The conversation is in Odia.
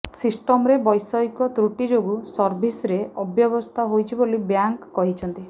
ସିଷ୍ଟମରେ ବୈଷୟିକ ତ୍ରୁଟି ଯୋଗୁ ସର୍ଭିସ୍ରେ ଅବ୍ୟବସ୍ଥା ହୋଇଛି ବୋଲି ବ୍ୟାଙ୍କ କହିଛନ୍ତି